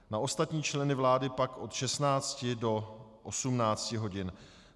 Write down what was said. Na ostatní členy vlády pak od 16 do 18 hodin.